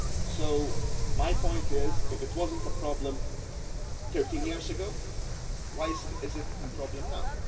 then. So my point is that, if it was not a problem 13 years ago, why is it a problem